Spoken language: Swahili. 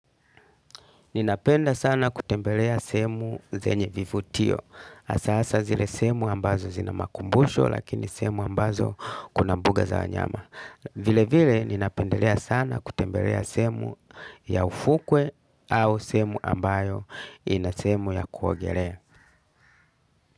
Ninapenda sana kutembelea sehemu zenye vivutio. Hasa hasa zile sehemu ambazo zina makumbusho lakini sehemu ambazo kuna mbuga za wanyama. Vile vile ninapendelea sana kutembelea sehemu ya ufukwe au sehemu ambayo ina sehemu ya kuogelea.